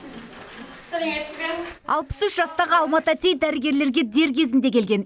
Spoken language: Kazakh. алпыс үш жастағы алма тәтей дәрігерлерге дер кезінде келген